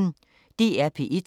DR P1